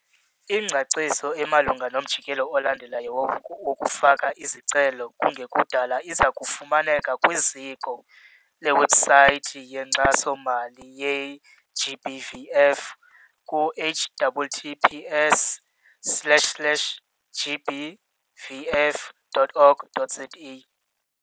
Ingcaciso emalunga nomjikelo olandelayo wokufaka izicelo kungekudala iza kufumaneka kwiziko lewebhusayithi yeNkxaso-mali ye-GBVF ku - https slash, slash gbvf dot org dot za.